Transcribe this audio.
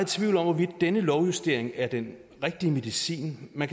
tvivl om hvorvidt denne lovjustering er den rigtige medicin man